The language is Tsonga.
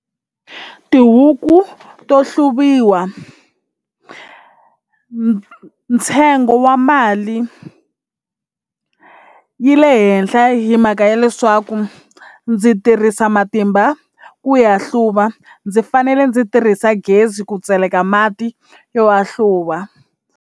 Tihuku to hluviwa ntsengo wa mali yi le henhla hlaya hi mhaka ya leswaku ndzi tirhisa matimba ku ya hluva ndzi fanele ndzi tirhisa gezi ku tseleka mati yo ya hluva.